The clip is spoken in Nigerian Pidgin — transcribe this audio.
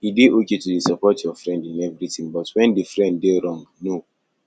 e de okay to de support your friend in everything but when di friend de wrong no